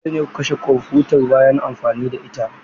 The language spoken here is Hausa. Dole ne ku kashe kwamfutar bayan amfani da ita.